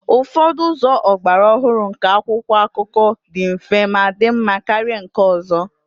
Ụfọdụ ụzọ ọgbara ọhụrụ nke akwụkwọ akụkọ dị mfe ma dị mma karịa nke ọzọ